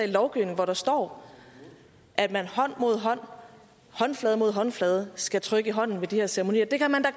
lovgivning hvor der står at man hånd mod hånd håndflade mod håndflade skal trykke i hånden ved de her ceremonier det kan man da